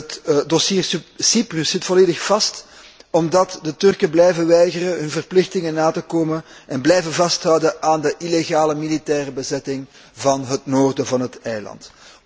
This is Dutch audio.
Het dossier Cyprus zit volledig vast omdat de Turken blijven weigeren hun verplichtingen na te komen en blijven vasthouden aan de illegale militaire bezetting van het noorden van het eiland.